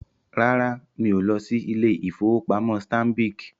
Rárá, mí o lọ sí ilé-ìfowópamọ́ Stanbic